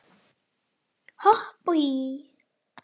Hopp og hí